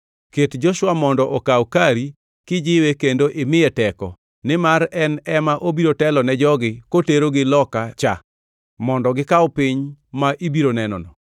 Ket Joshua mondo okaw kari kijiwe kendo imiye teko, nimar en ema obiro telo ne jogi koterogi loka cha mondo gikaw piny ma ibiro nenono.”